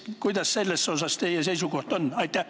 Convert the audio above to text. Kuidas teie seisukoht on?